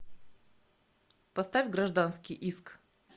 поставь гражданский иск